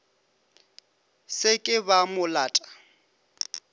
se ke ba mo lata